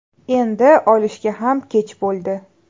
Endi olishga ham kech bo‘ldi.